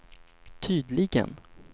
tydligen